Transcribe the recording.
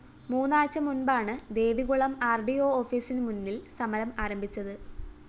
മൂന്നാഴ്ച മുന്‍പാണ് Devikulam R D O ഓഫീസിന് മുന്നില്‍ സമരം ആരംഭിച്ചത്